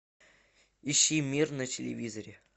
ищи мир на телевизоре